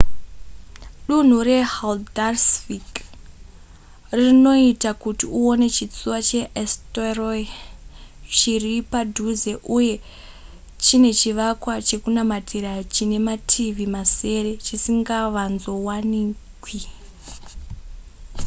dunhu rehaldarsvik rinoita kuti uone chitsuwa cheeysturoy chiri padhuze uye chine chivakwa chekunamatira chine mativi masere chisingavanzovanikwi